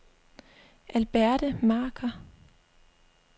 Alberte Marker